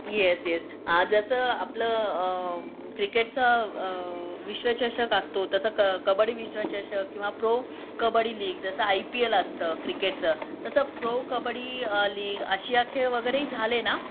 S एस जस आपलं क्रिकेटचं विश्वचषक असतो तस कब्बडी विश्वचषक किंवा प्रो कब्बडी लीग जस आय पी एल असत क्रिकेटच तस प्रो कब्बडी लीग आशिया खेळ वगैरेहि झाले ना